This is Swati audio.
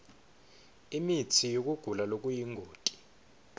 imitsi yekugula lokuyingoti